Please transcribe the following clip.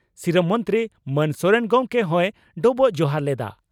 ᱥᱤᱨᱟᱹ ᱢᱚᱱᱛᱨᱤ ᱢᱟᱱ ᱥᱚᱨᱮᱱ ᱜᱚᱢᱠᱮ ᱦᱚᱭ ᱰᱚᱵᱚᱜ ᱡᱚᱦᱟᱨ ᱞᱮᱫᱼᱟ ᱾